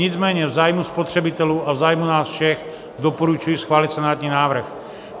Nicméně v zájmu spotřebitelů a v zájmu nás všech doporučuji schválit senátní návrh.